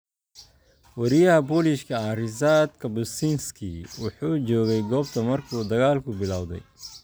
Wariyaha Polish-ka ah Ryszard Kapuscinski wuxuu joogay goobta markuu dagaalku bilowday.